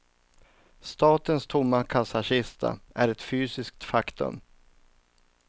Statens tomma kassakista är ett fysiskt faktum.